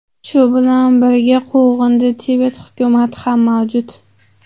Shu bilan birga, quvg‘indi Tibet hukumati ham mavjud.